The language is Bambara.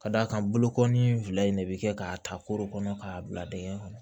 Ka d'a kan bolokoli fila in de bɛ kɛ k'a ta koro kɔnɔ k'a bila dɛgɛ kɔnɔ